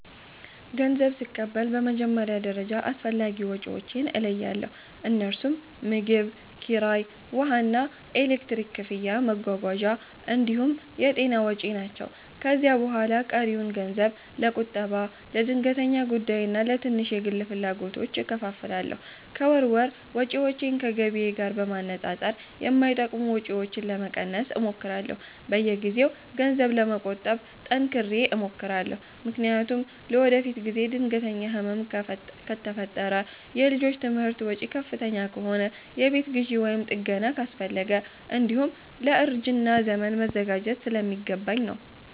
ገንዘብ ስቀበል በመጀመሪያ ደረጃ አስፈላጊ ወጪዎቼን እለያለሁ፤ እነርሱም ምግብ፣ ኪራይ፣ ውሃና ኤሌክትሪክ ክፍያ፣ መጓጓዣ እንዲሁም የጤና ወጪ ናቸው። ከዚያ በኋላ ቀሪውን ገንዘብ ለቁጠባ፣ ለድንገተኛ ጉዳይና ለትንሽ የግል ፍላጎቶች እከፋፍላለሁ። ከወር ወር ወጪዎቼን ከገቢዬ ጋር በማነጻጸር የማይጠቅሙ ወጪዎችን ለመቀነስ እሞክራለሁ። በየጊዜው ገንዘብ ለመቆጠብ ጠንክሬ እሞክራለሁ፤ ምክንያቱም ለወደፊት ጊዜ ድንገተኛ ህመም ከፈጠረ፣ የልጆች ትምህርት ወጪ ከፍተኛ ከሆነ፣ የቤት ግዢ ወይም ጥገና አስፈለገ፣ እንዲሁም ለእርጅና ዘመን መዘጋጀት ስለሚገባኝ ነው።